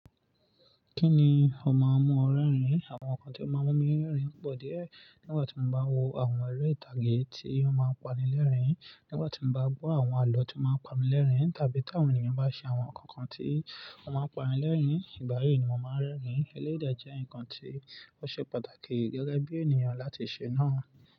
Kí ni ó máa ń mú ọ rẹ́rìn? Àwọn nǹkan tí ó máa ń mú mi rẹ́rìn pọ̀ díẹ̀. Nígbà tí mo bá wo àwọn eré ìtàgé tí ó máa ń pani lẹ́rìn-ín, nígbà tí mo bá gbọ́ àwọn àlọ́ tí ó máa ń pamí lẹ́rìn-ín, tàbí tí àwọn ènìyàn bá ṣe àwọn kankan tí ó máa ń pani lẹ́rìn-ín, ìgbà yí ni mo máa ń rẹ́rìn-ín. Elédè jẹ́ nǹkan tí ó ṣe pàtàkì gẹ́gẹ́ bí ènìyàn láti ṣe náà.